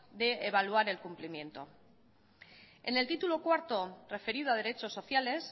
de evaluar el cumplimiento en el título cuarto referido a derechos sociales